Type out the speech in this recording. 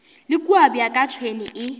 le kua bjaka tšhwene e